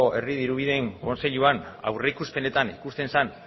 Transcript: herri dirubideen kontseiluan aurreikuspenetan ikusten zen